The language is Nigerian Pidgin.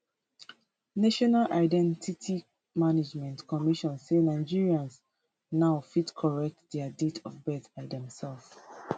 national identity management commission say nigerians nigerians now fit correct dia date of birth by themselves